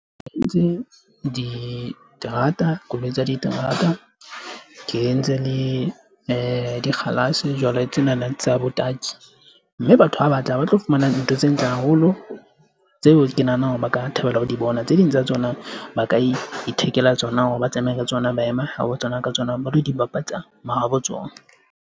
Ke entse diterata koloi tsa diterata ke entse le di dikgalase jwale tsena na tsa bataki, mme batho ba bangata ba tlo fumana nna ntho tse ntle haholo tseo ke nahanang hore ba ka thabela ho di bona. Tse ding tsa tsona ba ka ithekela tsona hore ba tsamaye ka tsona, ba ema ho tsona ka tsona ba lo di bapatsa mahabo tsona.